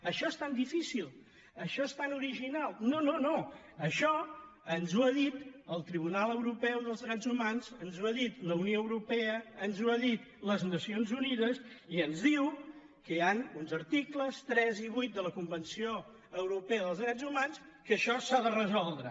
això és tan difícil això és tan ori·ginal no no no això ens ho ha dit el tribunal euro·peu dels drets humans ens ho ha dit la unió europea ens ho ha dit les nacions unides i ens diu que hi han uns articles tres i vuit de la convenció europea dels drets humans que això s’ha de resoldre